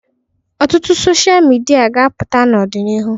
Ọtụtụ dochịa midia ga-apụta n'ọdịnihu.